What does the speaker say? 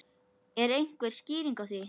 Er einhver skýring á því?